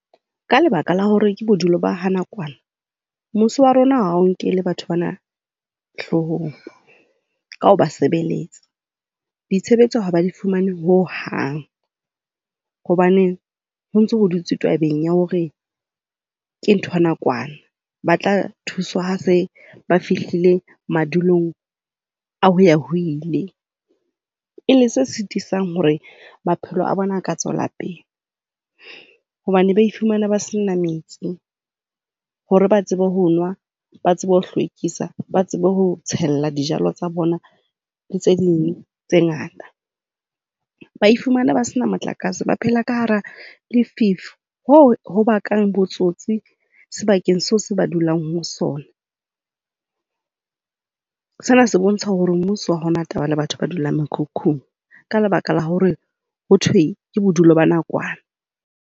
Ka lebaka la hore ke bodulo ba ha nakwana, mmuso wa rona ha o nkele batho bana hloohong ka ho ba sebeletsa. Ditshebetso ha ba di fumane ho hang hobane ho ntso dutswe tabeng ya hore ke ntho ya nakwana. Ba tla thuswa ha ba se fihlile madulong a hoya ho ile. E leng se sitisang hore maphelo a bona a ka tswela pele hobane ba iphumana ba sena metsi hore ba tsebe ho nwa, ba tsebe ho hlwekisa. Ba tsebe ho tshella dijalo tsa bona le tse ding tse ngata. Ba iphumana ba sena motlakase, ba phela ka hara lefifi, hoo ho bakang botsotsi sebakeng seo se ba dulang ho sona. Sena se bontsha hore mmuso ha o na taba le batho bao ba dulang mekhukhung ka lebaka la hore ho thwe ke bodulo ba nakwana.